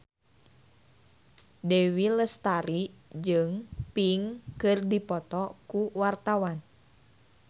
Dewi Lestari jeung Pink keur dipoto ku wartawan